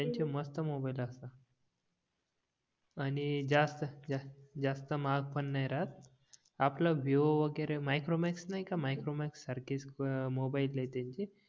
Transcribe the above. त्यांच्या मस्त मोबाईल असतात आणि जास्त महाग पण नाही राहत आपला विवो वगैरे मायक्रोमॅक्स नाही का मायक्रोमॅक्स सारखे मोबाइल आहे त्यांचे